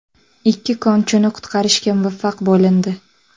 Ikki konchini qutqarishga muvaffaq bo‘lindi.